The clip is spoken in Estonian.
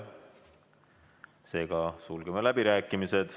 Seega sulgeme läbirääkimised.